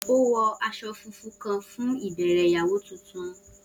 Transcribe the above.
O wọ aṣọ funfun kan fun ibẹrẹ iyawo tuntun.